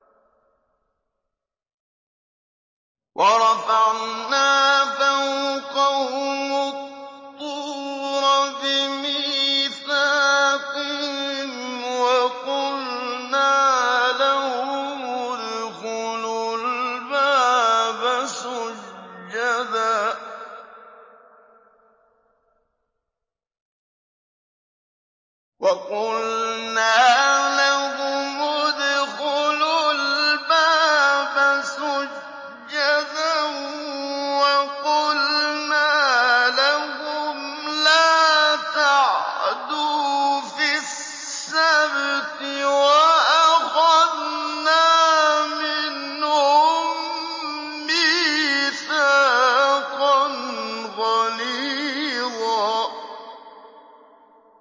وَرَفَعْنَا فَوْقَهُمُ الطُّورَ بِمِيثَاقِهِمْ وَقُلْنَا لَهُمُ ادْخُلُوا الْبَابَ سُجَّدًا وَقُلْنَا لَهُمْ لَا تَعْدُوا فِي السَّبْتِ وَأَخَذْنَا مِنْهُم مِّيثَاقًا غَلِيظًا